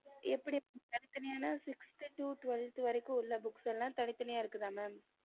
எப்படி தனித்தனியான sixth to twelfth வரைக்கும் உள்ள book ல தனித்தனியா இருக்குதா mam